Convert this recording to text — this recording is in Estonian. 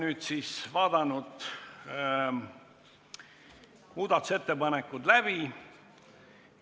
Nüüd oleme siis muudatusettepanekud läbi vaadanud.